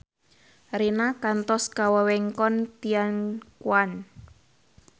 Rina kantos ka wewengkon Tianquan